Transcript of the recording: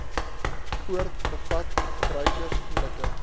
poort bevat gebruikersvriendelike